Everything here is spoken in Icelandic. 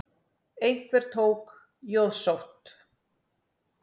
Einhver tók jóðsótt.